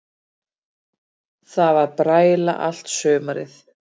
Það var bræla allt sumarið.